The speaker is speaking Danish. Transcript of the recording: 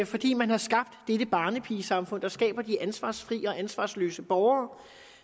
fordi man har skabt dette barnepigesamfund der skaber de ansvarsfrie og ansvarsløse borgere